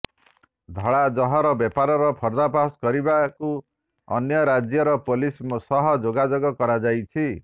ଧଳାଜହର ବେପାରର ପର୍ଦ୍ଦା ଫାସ୍ କରିବାକୁ ଅନ୍ୟ ରାଜ୍ୟର ପୋଲିସଙ୍କ ସହ ଯୋଗାଯୋଗ କରାଯାଇଛି